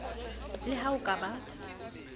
le ha o ka ba